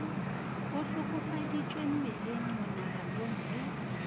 o hlokofaditšwe mmeleng monaganong le